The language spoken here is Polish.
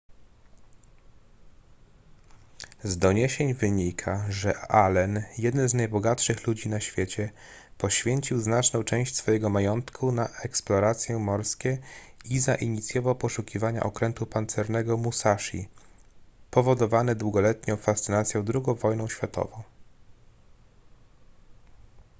z doniesień wynika że allen jeden z najbogatszych ludzi na świecie poświęcił znaczną część swojego majątku na eksploracje morskie i zainicjował poszukiwania okrętu pancernego musashi powodowany długoletnią fascynacją ii wojną światową